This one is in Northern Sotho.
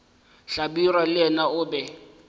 hlabirwa le yena o be